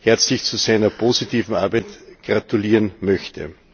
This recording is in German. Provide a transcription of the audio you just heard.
herzlich zu seiner positiven Arbeit gratulieren möchte.